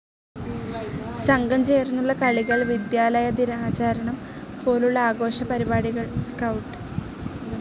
സംഘംചേർന്നുള്ള കളികൾ വിദ്യാലയദിനാചരണം പോലുള്ള ആഘോഷപരിപാടികൾ, സ്കൌട്ട്.